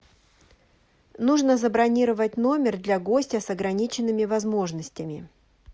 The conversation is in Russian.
нужно забронировать номер для гостя с ограниченными возможностями